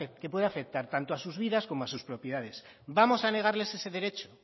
que puede afectar tanto a sus vidas como a sus propiedades vamos a negarles ese derecho